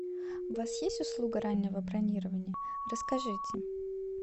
у вас есть услуга раннего бронирования расскажите